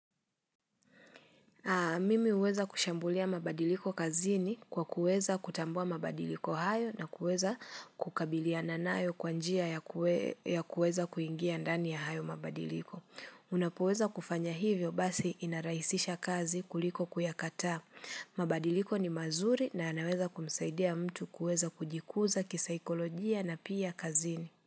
Mimi huweza kushambulia mabadiliko kazini kwa kuweza kutambua mabadiliko hayo na kuweza kukabiliana nayo kwa njia ya kuweza kuingia ndani ya hayo mabadiliko. Unapoweza kufanya hivyo basi inarahisisha kazi kuliko kuyakataa. Mabadiliko ni mazuri na anaweza kumsaidia mtu kuweza kujikuza kisaikolojia na pia kazini.